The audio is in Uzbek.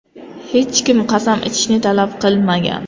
Hech kim qasam ichishni talab qilmagan.